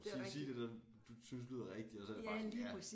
Sig sig det det du synes lyder rigtigt og så er det bare ja